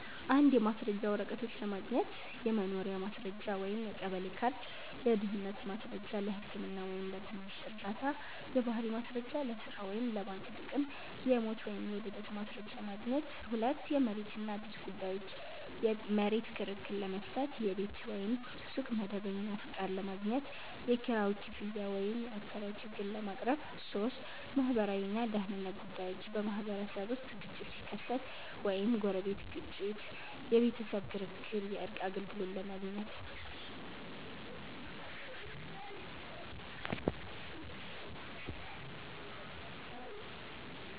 1. የማስረጃ ወረቀቶች ለማግኘት · የመኖሪያ ማስረጃ (የቀበሌ ካርድ) · የድህነት ማስረጃ (ለህክምና ወይም ለትምህርት ዕርዳታ) · የባህሪ ማስረጃ (ለሥራ ወይም ለባንክ ጥቅም) · የሞት ወይም የልደት ማስረጃ ማግኘት 2. የመሬት እና ቤት ጉዳዮች · የመሬት ክርክር ለመፍታት · የቤት ወይም ሱቅ መደበኛ ፈቃድ ለማግኘት · የኪራይ ክፍያ ወይም የአከራይ ችግር ለማቅረብ 3. ማህበራዊ እና ደህንነት ጉዳዮች · በማህበረሰብ ውስጥ ግጭት ሲከሰት (ጎረቤት ግጭት፣ የቤተሰብ ክርክር) የእርቅ አገልግሎት ለማግኘት